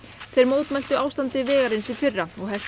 þeir mótmæltu ástandi vegarins í fyrra og helltu